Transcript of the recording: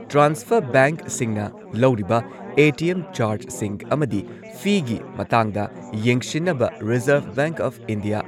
transfer ꯕꯦꯡꯛꯁꯤꯡꯅ ꯂꯧꯔꯤꯕ ATM ꯆꯥꯔꯖꯁꯤꯡ ꯑꯃꯗꯤ ꯐꯤꯒꯤ ꯃꯇꯥꯡꯗ ꯌꯦꯡꯁꯤꯟꯅꯕ ꯔꯤꯖꯔꯚ ꯕꯦꯡꯛ ꯑꯣꯐ ꯏꯟꯗꯤꯌꯥ